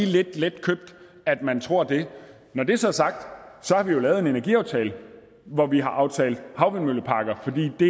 lidt letkøbt at man tror det når det så er sagt har vi jo lavet en energiaftale hvor vi har aftalt havvindmølleparker fordi det